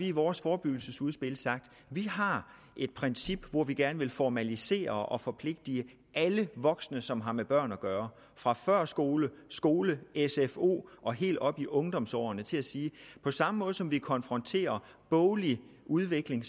i vores forebyggelsesudspil har sagt at vi har et princip hvor vi gerne vil formalisere og forpligte alle voksne som har med børn at gøre fra førskole skole sfo og helt op i ungdomsårene til at sige at på samme måde som de konfronterer boglig udvikling